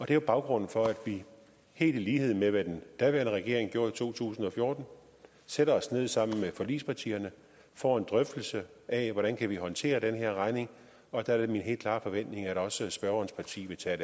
er jo baggrunden for at vi helt i lighed med hvad den daværende regering gjorde i to tusind og fjorten sætter os ned sammen med forligspartierne får en drøftelse af hvordan vi kan håndtere den her regning og der er det min helt klare forventning at også spørgerens parti vil tage